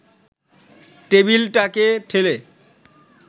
টেবিলটাকে ঠেলে